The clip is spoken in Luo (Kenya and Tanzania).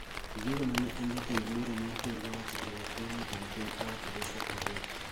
Ondigo mane en jatend bura mar pinyno e loch mar Jatend piny owacho Joshua Owila